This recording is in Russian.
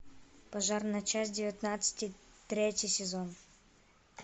пожарная часть девятнадцать третий сезон